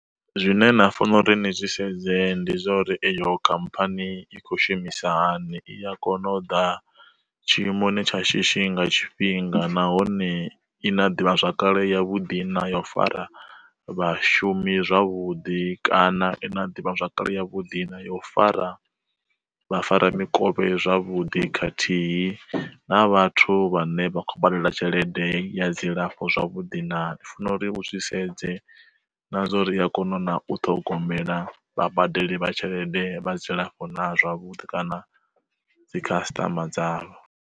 Zwine na fanela uri ni zwi sedze ndi zwa uri eyo khamphani i kho shumisa hani i a kona u ḓa tshiimoni tsha shishi nga tshifhinga nahone i na ḓivha zwakale ya vhuḓi na yo fara vhashumi zwavhuḓi kana i na ḓivhazwakale ya vhuḓi na ya u fara vhafaramikovhe zwavhuḓi khathihi na vhathu vhane vha khou badela tshelede ya dzilafho zwavhuḓi na. U funo uri u zwi sedze na zwa uri iya kona na u ṱhogomela vha badeli vha tshelede vha dzilafho na zwavhuḓi kana dzikhasitama dzavho